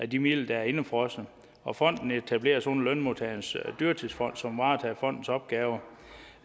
de midler der er indefrosset og fonden etableres under lønmodtagernes dyrtidsfond som varetager fondens opgaver